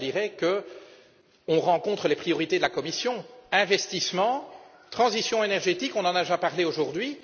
Je dirais ici que nous rejoignons les priorités de la Commission investissement et transition énergétique nous en avons déjà parlé aujourd'hui.